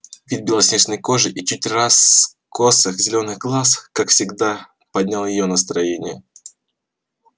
вид белоснежной кожи и чуть раскосых зелёных глаз как всегда поднял её настроение